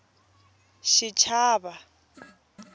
xichava